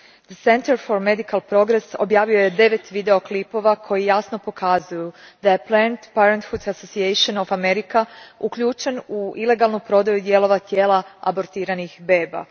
The Center for Medical Progress objavio je devet video klipova koji jasno pokazuju da je Planned Parenthood Association of America uključen u ilegalnu prodaju dijelova tijela abortiranih beba.